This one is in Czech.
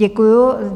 Děkuji.